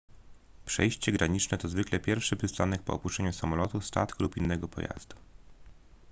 przejście graniczne to zwykle pierwszy przystanek po opuszczeniu samolotu statku lub innego pojazdu